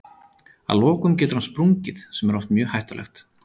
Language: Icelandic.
Að lokum getur hann sprungið sem er oft mjög hættulegt.